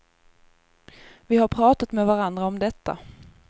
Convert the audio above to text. Vi har pratat med varandra om detta.